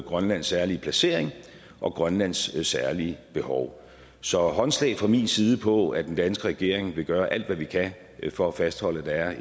grønlands særlige placering og grønlands særlige behov så håndslag fra min side på at den danske regering vil gøre alt hvad vi kan for at fastholde at